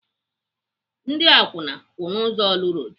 Ndị akwụna kwụ n'ụzọ Orlu road.